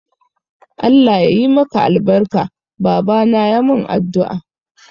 Allah ya yi maka albarka, babana ya mun addu'a.